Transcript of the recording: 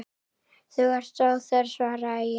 Þú ert óþörf, svaraði ég.